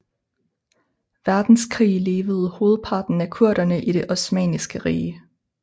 Verdenskrig levede hovedparten af kurderne i det osmanniske rige